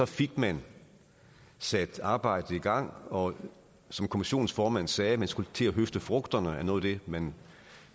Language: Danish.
fik man sat arbejdet i gang og som kommissionens formand sagde man skulle til at høste frugterne af noget af det man